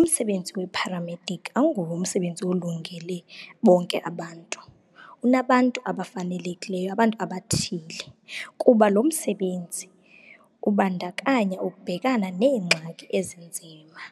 Umsebenzi weparamedic awunguwo umsebenzi olungele bonke abantu. Unabantu abafanelekileyo, abantu abathile, kuba lo msebenzi ubandakanya ukubhekana neengxaki ezinzima